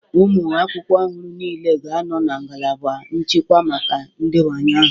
Ụmụ akwụkwọ ọhụrụ niile ga-anọ na ngalaba nchịkwa maka ndebanye aha.